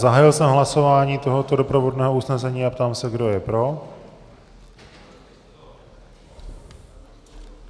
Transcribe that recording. Zahájil jsem hlasování tohoto doprovodného usnesení a ptám se, kdo je pro.